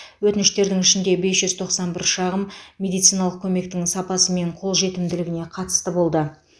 өтініштердің ішінде бес жүз тоқсан бір шағым медициналық көмектің сапасы мен қолжетімділігіне қатысты болды